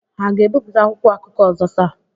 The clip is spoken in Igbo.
Hà ga-ebipụta akwụkwọ akụkọ ọzọ taa?